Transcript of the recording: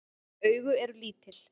Augu eru lítil.